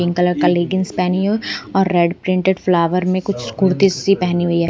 Pink colour का leggings पहनी है और रेड प्रिंटेड फ्लावर में कुछ कुर्ती सी पहनी हुई है।